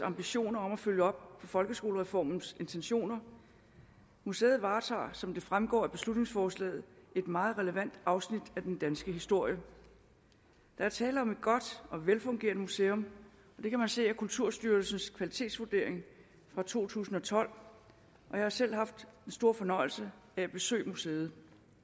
ambitioner om at følge op på folkeskolereformens intentioner museet varetager som det fremgår af beslutningsforslaget et meget relevant afsnit af den danske historie der er tale om et godt og velfungerende museum det kan man se af kulturarvsstyrelsens kvalitetsvurdering fra to tusind og tolv og jeg har selv haft den store fornøjelse at besøge museet